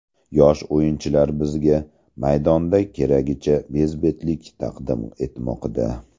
Yosh o‘yinchilar bizga maydonda keragicha bezbetlik taqdim etmoqda.